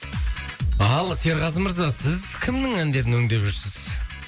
ал серғазы мырза сіз кімнің әндерін өңдеп жүрсіз